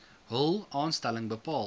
hul aanstelling bepaal